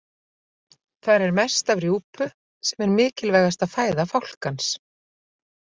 Þar er mest af rjúpu sem er mikilvægasta fæða fálkans.